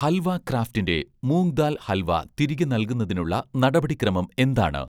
ഹൽവ ക്രാഫ്റ്റിൻ്റെ മൂംഗ് ദാൽ ഹൽവ തിരികെ നൽകുന്നതിനുള്ള നടപടിക്രമം എന്താണ്?